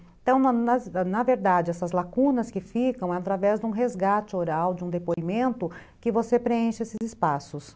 Então, na na verdade, essas lacunas que ficam é através de um resgate oral, de um depoimento, que você preenche esses espaços.